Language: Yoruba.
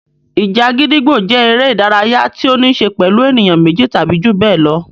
Ìjà gídígbò jẹ́ eré-idárayá tí ó níṣe pẹ̀lú ènìyàn méjì tàbí ju bẹ́ẹ̀ lọ.